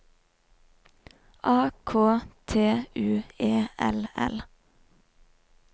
A K T U E L L